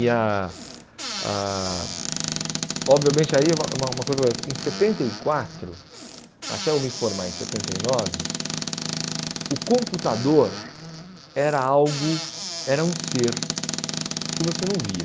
E a a... obviamente aí é uma uma coisa... em setenta e quatro, até eu me formar em setenta e nove, o computador era algo, era um ser que você não via.